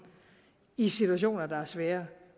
i situationer der er svære